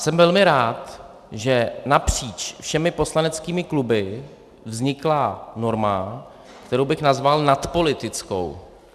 Jsem velmi rád, že napříč všemi poslaneckými kluby vznikla norma, kterou bych nazval nadpolitickou.